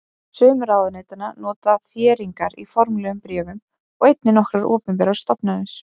Sum ráðuneytanna nota þéringar í formlegum bréfum og einnig nokkrar opinberar stofnanir.